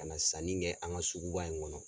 Ka na sanni kɛ an ka sugu ba in kɔnɔ.